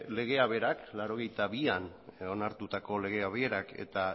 legeak berak laurogeita bian onartutako legeak berak eta